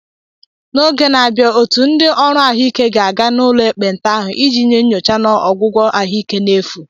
N’izu na-abịa, otu ndị ọrụ ahụike ga-aga n’ụlọ ekpenta ahụ iji nye nyocha na ọgwụgwọ ahụike n’efu.